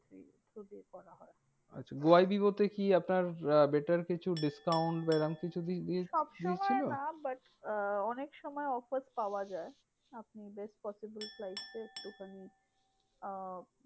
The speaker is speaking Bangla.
আচ্ছা গো আই বিবো তে কি আপনার আহ better কিছু discount বা এরম কিছু কি সবসময় না জিনিস ছিল? but আহ অনেক সময় offers পাওয়া যায়। আপনি best possible flights এ একটুখানি আহ